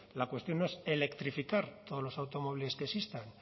la cuestión es electrificar todos los automóviles que existan